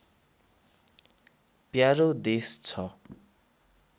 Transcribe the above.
प्यारो देश छ